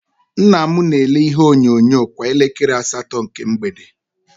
Nnam na- elele ihe onyonyo kwa elekere asatọ nke mgbede.